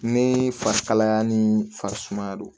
Ne fari kalaya ni faŋaa don